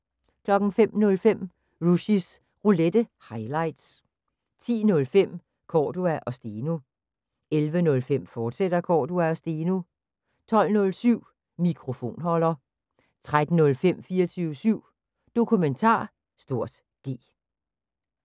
05:05: Rushys Roulette – highlights 10:05: Cordua & Steno 11:05: Cordua & Steno, fortsat 12:07: Mikrofonholder 13:05: 24syv Dokumentar (G)